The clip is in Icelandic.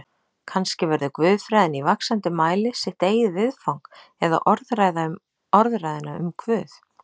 Kannski verður guðfræðin í vaxandi mæli sitt eigið viðfang eða orðræða um orðræðuna um Guð.